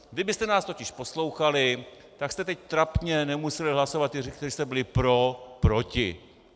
Kdybyste nás totiž poslouchali, tak jste teď trapně nemuseli hlasovat - ti, kteří jste byli pro - proti.